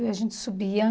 E a gente subia.